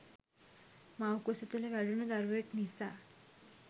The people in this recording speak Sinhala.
මව්කුස තුළ වැඩුණු දරුවෙක් නිසා